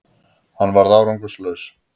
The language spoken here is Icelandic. Hann varð árangurslaus